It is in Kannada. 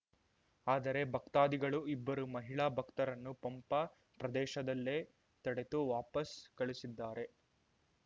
ಆದರೆ ಭಕ್ತಾದಿಗಳು ಇಬ್ಬರು ಮಹಿಳಾ ಭಕ್ತರನ್ನು ಪಂಪಾ ಪ್ರದೇಶದಲ್ಲೇ ತಡೆದು ವಾಪಸ್‌ ಕಳಿಸಿದ್ದಾರೆ